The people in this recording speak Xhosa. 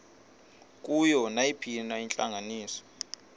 kuyo nayiphina intlanganiso